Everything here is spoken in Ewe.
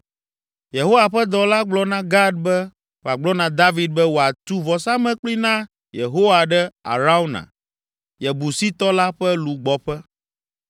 Yehowa ƒe dɔla gblɔ na Gad be wòagblɔ na David be wòatu vɔsamlekpui na Yehowa ɖe Arauna, Yebusitɔ la ƒe lugbɔƒe.